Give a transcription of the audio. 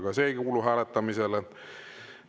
Ka see ei kuulu hääletamisele.